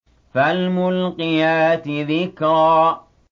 فَالْمُلْقِيَاتِ ذِكْرًا